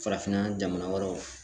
Farafinna jamana wɛrɛw